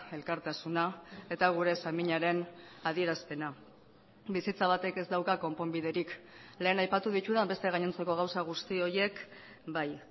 elkartasuna eta gure saminaren adierazpena bizitza batek ez dauka konponbiderik lehen aipatu ditudan beste gainontzeko gauza guzti horiek bai